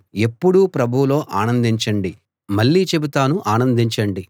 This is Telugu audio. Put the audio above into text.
ఎప్పుడూ ప్రభువులో ఆనందించండి మళ్ళీ చెబుతాను ఆనందించండి